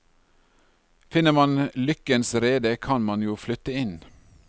Finner man lykkens rede, kan man jo flytte inn.